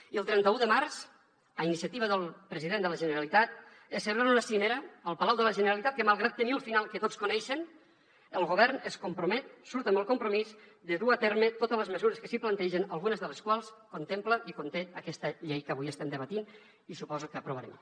i el trenta un de març a iniciativa del president de la generalitat es celebra una cimera al palau de la generalitat en què malgrat tenir al final que tots coneixen el govern es compromet surt amb el compromís de dur a terme totes les mesures que s’hi plantegen algunes de les quals contempla i conté aquesta llei que avui estem debatent i suposo que aprovarem